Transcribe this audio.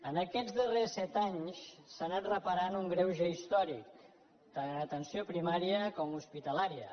en aquests darrers set anys s’ha anat reparant un greuge històric tant en atenció primària com hospitalària